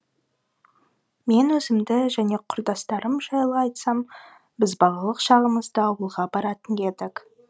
мен өзімді және құрдастарым жайлы айтсам біз балалық шағымызда ауылға баратын едік